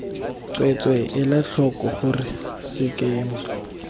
tsweetswee ela tlhoko gore sekema